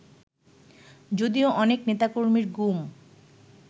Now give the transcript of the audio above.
যদিও অনেক নেতাকর্মীর গুম